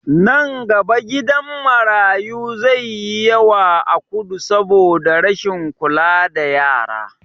Nan gaba gidan marayu zai yi yawa a kudu saboda rashin kula da yara